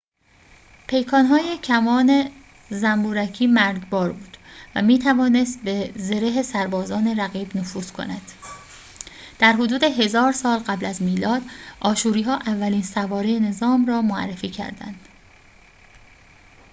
پیکان‌های کمان زنبورکی مرگبار بود و می‌توانست به زره سربازان رقیب نفوذ کند در حدود ۱۰۰۰ سال قبل از میلاد آشوری‌ها اولین سواره نظام را معرفی کردند